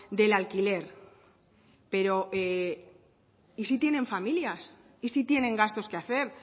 del alquiler pero y si tienen familias y si tienen gastos que hacer